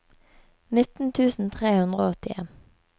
nitten tusen tre hundre og åttien